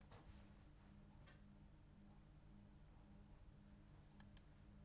نمایشەکان لە بنەڕەتدا ئەکتەرانی دەنگی ناشارەزای لەخۆ گرت بوو ناوخۆیی تێکساسی خۆرھەڵات